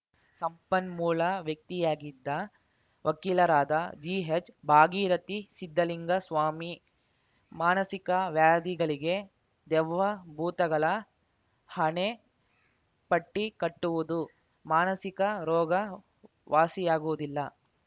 ಸಂಪನ್ಮೂಲ ವ್ಯಕ್ತಿಯಾಗಿದ್ದ ವಕೀಲರಾದ ಜಿಹೆಚ್‌ ಭಾಗೀರಥಿ ಸಿದ್ಧಲಿಂಗಸ್ವಾಮಿ ಮಾನಸಿಕ ವ್ಯಾಧಿಗಳಿಗೆ ದೆವ್ವ ಭೂತಗಳ ಹಣೆಪಟ್ಟಿಕಟ್ಟುವುದು ಮಾನಸಿಕ ರೋಗ ವಾಸಿಯಾಗುವುದಿಲ್ಲ